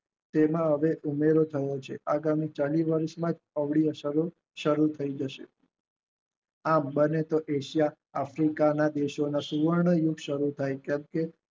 તેમાં હવે ઉમેરો થયો છે. સારી થાય જશે આમ બને ત્યાં સુધી એશિયા આફ્રિકામાં સુવર્ણ વૃક્ષ સારું થઈ છે